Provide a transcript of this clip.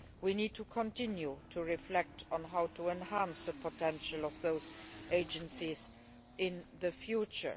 We need to continue to reflect on how to enhance the potential of these agencies in the future.